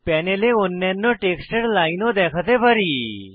প্যানেলে অন্যান্য টেক্সটের লাইনও দেখাতে পারি